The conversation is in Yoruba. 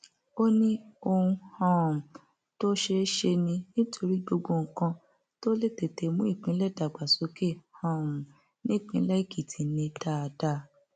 ó ní ohun um tó ṣeé ṣe ni nítorí gbogbo nǹkan tó lè tètè mú ìpínlẹ dàgbàsókè um nípínlẹ èkìtì ni dáadáa